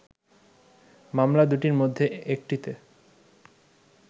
মামলা দুটির মধ্যে একটিতে